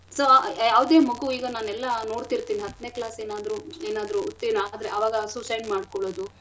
so ಯಾವ್ದೆ ಮಗು ನಾನೆಲ್ಲ ನೋಡ್ತಿರ್ತಿನಿ ಹತ್ನೇ class ಏನಾದ್ರು ಏನಾದ್ರೂ ಅನುತ್ತಿರ್ಣ ಆದ್ರೆ suicide ಮಾಡ್ಕೊಳದು.